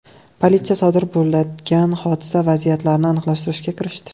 Politsiya sodir bo‘lgan hodisa vaziyatlarini aniqlashtirishga kirishdi.